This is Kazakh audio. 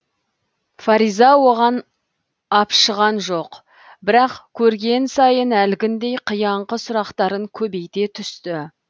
фариза оған апшыған жоқ бірақ көрген сайын әлгіндей қияңқы сұрақтарын көбейте түсті